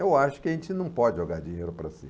Eu acho que a gente não pode jogar dinheiro para cima.